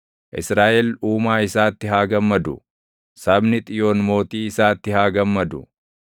Israaʼel Uumaa isaatti haa gammadu; sabni Xiyoon Mootii isaatti haa gammadu.